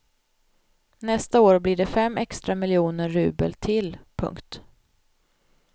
Nästa år blir det fem extra miljoner rubel till. punkt